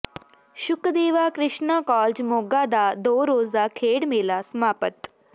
Shukdeva Krishna college Moga ਦਾ ਦੋ ਰੋਜ਼ਾ ਖੇਡ ਮੇਲਾ ਸਮਾਪਤ